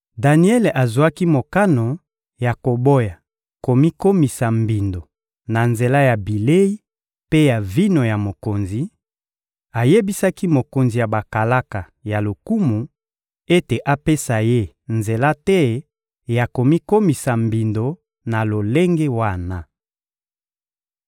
Daniele azwaki mokano ya koboya komikomisa mbindo na nzela ya bilei mpe ya vino ya mokonzi; ayebisaki mokonzi ya bakalaka ya lokumu ete apesa ye nzela te ya komikomisa mbindo na lolenge wana.